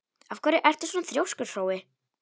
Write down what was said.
Af hverju ertu svona þrjóskur, Hrói?